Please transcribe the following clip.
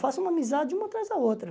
Faço uma amizade uma atrás da outra.